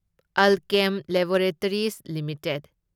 Alkem laboratories limited